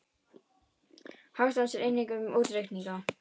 Hagstofan sér einnig um þá útreikninga.